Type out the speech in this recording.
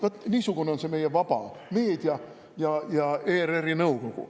Vaat niisugune on see meie vaba meedia ja ERR-i nõukogu.